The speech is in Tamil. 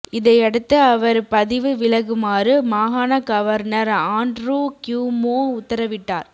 இதையடுத்து அவர் பதவி விலகுமாறு மாகாண கவர்னர் ஆணட்ரூ கியூமோ உத்தரவிட்டார்